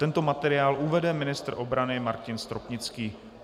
Tento materiál uvede ministr obrany Martin Stropnický.